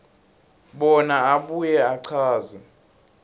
bona abuye achaze